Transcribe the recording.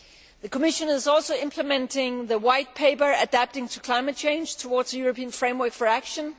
The Commission is also implementing the White Paper Adapting to climate change Towards a European framework for action'.